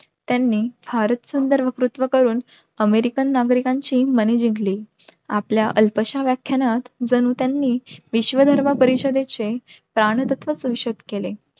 त्यांनी फारच सुंदर वक्तृत्व करून अमेरिकन नागरिकांची माने जिंकली. आपल्या अल्पश्या व्याख्यानात जणू त्यांनी विश्व धर्म परिषदेचे प्राणतत्त्व केले.